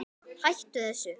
Hættu þessu!